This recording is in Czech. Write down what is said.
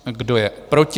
Kdo je proti?